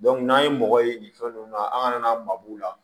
n'an ye mɔgɔ ye nin fɛn ninnu na an ka na maa b'u la